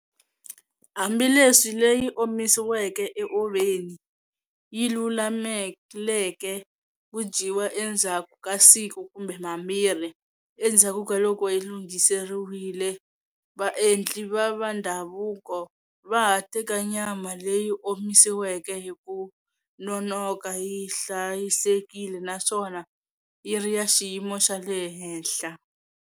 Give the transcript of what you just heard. Hambileswi leyi omisiweke eovheni yi lulameleke ku dyiwa endzhaku ka siku kumbe mambirhi endzhaku ka loko yi lunghiseriwile, vaendli va va ndhavuko va ha teka nyama leyi omisiweke hi ku nonoka yi hlayisekile naswona yi ri ya xiyimo xa le henhla.